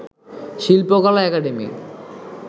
Shilpakala academy